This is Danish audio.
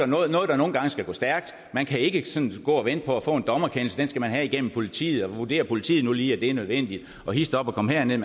noget der nogle gange skal gå stærkt man kan ikke sådan gå og vente på at få en dommerkendelse den skal man have gennem politiet og vurderer politiet lige at det nu er nødvendigt og hist op og kom herned